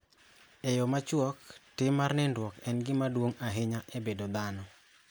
E yo machuok : Tim mar nindruok en gima duong� ahinya e bedo dhano.